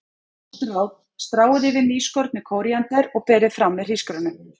Gott ráð: Stráið yfir nýskornu kóríander og berið fram með hrísgrjónum.